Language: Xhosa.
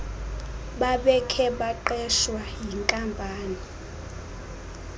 bebekhe baqeshwa yinkampani